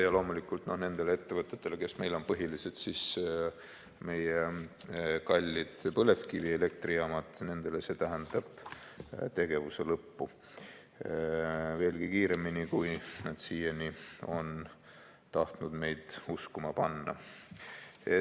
Ja loomulikult nendele ettevõtetele, kes meil on põhiliselt meie kallid põlevkivielektrijaamad, tähendab see tegevuse lõppu veelgi kiiremini, kui nad siiani on tahtnud meid uskuma panna.